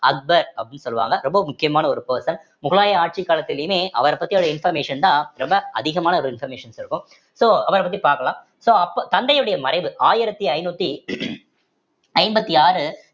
அக்பர் அப்படின்னு சொல்லுவாங்க ரொம்ப முக்கியமான ஒரு person முகலாய ஆட்சி காலத்திலயுமே அவர பத்தி வர information தான் ரொம்ப அதிகமான ஒரு informations இருக்கும் so அவர பத்தி பாக்கலாம் so அப்போ தந்தையுடைய மறைவு ஆயிரத்தி ஐந்நூத்தி ஐம்பத்தி ஆறு